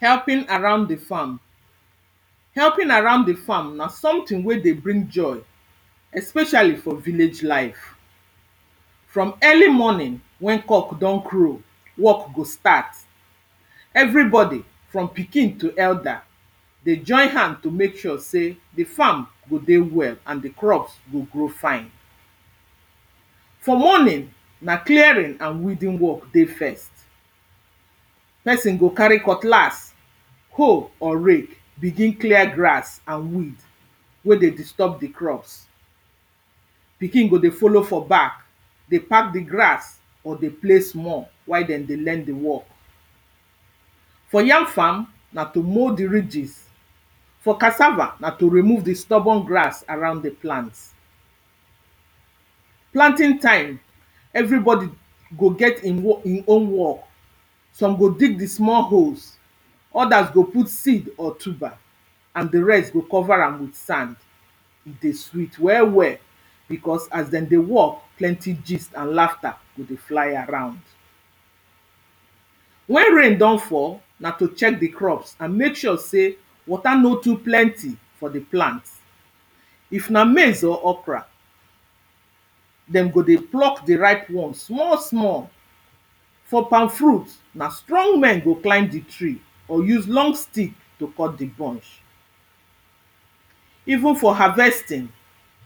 helping around the farm helping around the farm na something wey dey bring joy especially for village life from early morning when cock don crow work go start everybody, from pikin to elder dey join hand to make sure say the farm go dey well and the crops go grow fine for morning na clearing and weeding work dey first person go carry cutlass hoe or rake begin clear grass and weed wey dey disturb rhe crops pikin go dey follow for back, dey pack the grass or dey play small while den dey learn the work for yam farm, na to mould ridges for cassava, na to remove the stubborn grass around the plant planting time everybody go get im (urn) im own work some go dig the small holes, others go put seed or tuber and the rest go cover am with sand e dey sweet well well, because as dey dey work, plenty gist and laughter go dey fly around when rain don fall, na to check the crops and make sure sey water no too plenty for the plant if na maize or okra dem go dey pluck the ripe one small small for palm fruit na strong men go climb the tree or use long stick to cut the pod even for harvesting